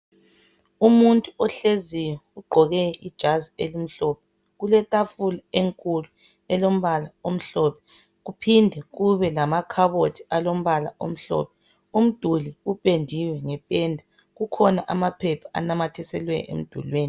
Umuntu ohleziyo ugqoke ijazi elimhlophe. Kuletafula enkulu elombala omhlophe kuphinde kube lamakhabothi alombala omhlophe. Umduli upendiwe ngependa kukhona amaphepha anamathiselwe emdulwini.